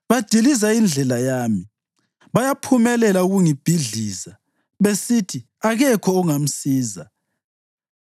Badiliza indlela yami; bayaphumelela ukungibhidliza besithi ‘Akekho ozamsiza.’